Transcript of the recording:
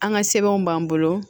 An ka sɛbɛnw b'an bolo